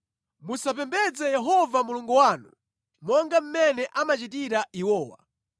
Musapembedze Yehova Mulungu wanu monga mmene amachitira iwowa.